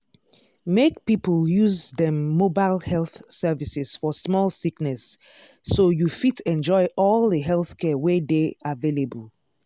make people use dem mobile health services for small sickness so you fit enjoy all the healthcare wey dey available.